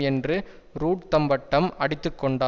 என்று ரூட் தம்பட்டம் அடித்து கொண்டார்